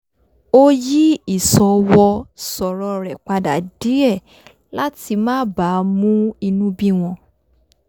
ó yí ìsọwọ sọ̀rọ̀ rẹ̀ padà díẹ̀ láti má bàa mú inú bí wọn